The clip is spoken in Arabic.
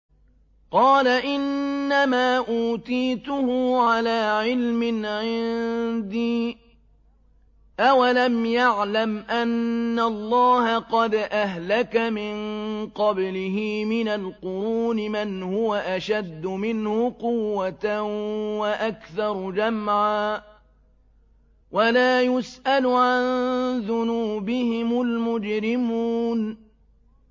قَالَ إِنَّمَا أُوتِيتُهُ عَلَىٰ عِلْمٍ عِندِي ۚ أَوَلَمْ يَعْلَمْ أَنَّ اللَّهَ قَدْ أَهْلَكَ مِن قَبْلِهِ مِنَ الْقُرُونِ مَنْ هُوَ أَشَدُّ مِنْهُ قُوَّةً وَأَكْثَرُ جَمْعًا ۚ وَلَا يُسْأَلُ عَن ذُنُوبِهِمُ الْمُجْرِمُونَ